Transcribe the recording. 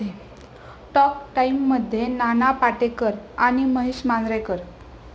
talk टाइममध्ये नाना पाटेकर आणि महेश मांजरेकर